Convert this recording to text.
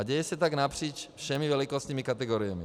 A děje se tak napříč všemi velikostními kategoriemi.